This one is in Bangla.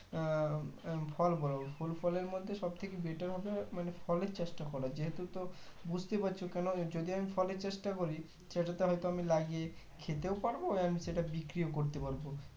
আহ আহ ফল বলো ফুল ফলের মধ্যে সব থেকে better হবে ফলের চাষটা করো যেহুততো বুজতেই পারছো কেন যদি আমি ফলের চাষটা করি সেটাতে হয়তো আমি লাগিয়ে খেতেও পারবো and সেটা বিক্রিও করতে পারবো